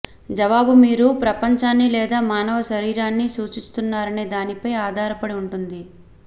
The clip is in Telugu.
జవాబు మీరు ప్రపంచాన్ని లేదా మానవ శరీరాన్ని సూచిస్తున్నారనే దానిపై ఆధారపడి ఉంటుంది